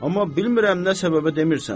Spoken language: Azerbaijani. Amma bilmirəm nə səbəbə demirsən.